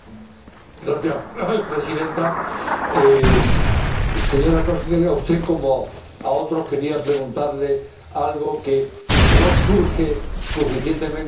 Señora Presidenta, señora Comisaria, a usted, como a otros, quería preguntarle algo que no surge suficientemente en este debate.